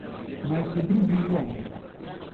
Naj se drugi lomijo.